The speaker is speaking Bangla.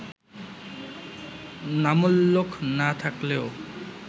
নামোল্লেখ না-থাকলেও